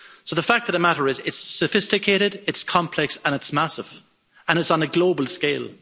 The fact of the matter is that it's sophisticated, it's complex and it's massive, and it's on a global scale.